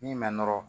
Min ma nɔrɔ